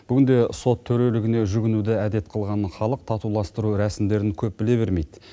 бүгінде сот төрелігіне жүгінуді әдет қылған халық татуластыру рәсімдерін көп біле бермейді